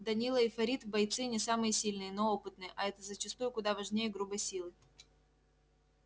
данила и фарид бойцы не самые сильные но опытные а это зачастую куда важнее грубой силы